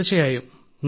തീർച്ചയായും